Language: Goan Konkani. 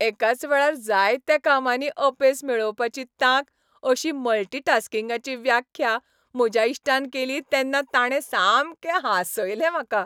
एकाच वेळार जायत्या कामांनी अपेस मेळोवपाची तांक अशी मल्टीटास्किंगाची व्याख्या म्हज्या इश्टान केली तेन्ना ताणें सामकें हांसयलें म्हाका.